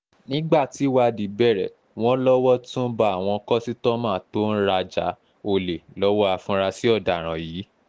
nígbà tíwádìí bẹ̀rẹ̀ wọ́n lọ́wọ́ tún bá àwọn kọ́sítọ́mà tó ń rajà ọ̀lẹ lọ́wọ́ àfúráṣí ọ̀daràn yìí